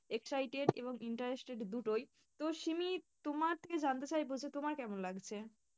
Excited এবং interested দুটোই, তো শিমি তোমার থেকে জানতে চাইবো যে তোমার কেমন লাগছে?